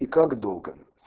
и как долго